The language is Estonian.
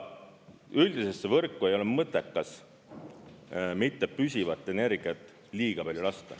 Üldisesse võrku ei ole mõttekas mittepüsivat energiat liiga palju lasta.